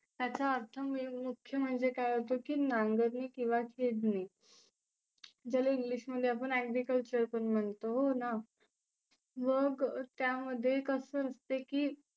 त्याचा अर्थ मुख्य म्हणजे काय होतो नांगरने किंवा छेदने. ज्याला English मध्ये आपण agriculture पण म्हणतो हो ना. मग त्यामध्ये कसं असतं की